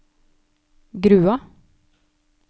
Grua